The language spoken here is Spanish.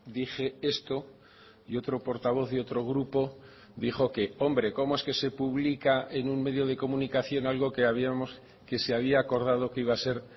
dije esto y otro portavoz de otro grupo dijo que hombre cómo es que se publica en un medio de comunicación algo que habíamos que se había acordado que iba a ser